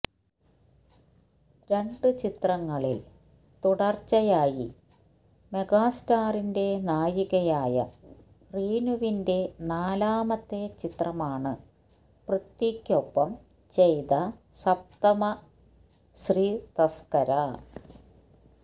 രണ്ട് ചിത്രങ്ങളില് തുടര്ച്ചയായി മെഗാസ്റ്റാറിന്റെ നായികയായ റീനുവിന്റെ നാലാമത്തെ ചിത്രമാണ് പൃഥ്വിയ്ക്കൊപ്പം ചെയ്ത സപ്തമശ്രീ തസ്കര